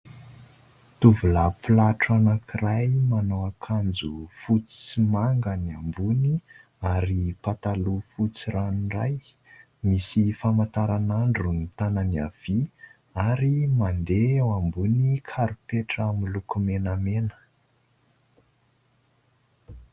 Tovolahy mpilatro anankiray manao akanjo fotsy sy manga ny ambony ary pataloha fotsy ranoray. Misy famantaranandro ny tanany havia ary mandeha eo ambony karipetra miloko menamena.